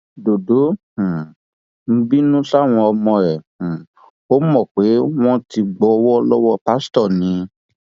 dọdọ um bínú sáwọn ọmọ ẹ um ò mọ pé wọn ti gbowó lọwọ pásítọ ni